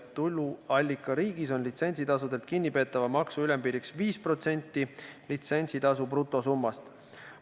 Tuluallikariigis on litsentsitasudelt kinnipeetava maksu ülempiiriks 5% litsentsitasu brutosummast.